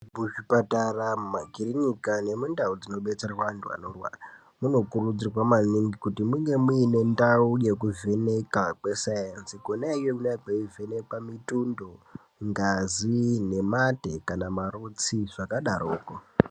Muzvipatara ,mumakirinika nemundau dzinodetserwa anhu anorwara munokurudzirwa maningi kuti munge mune ndau ye kuvheneka kwescience kona iyo kunonga kweivhenekwa mitundo ,ngazi, nemate kana marutsi zvakadaroko.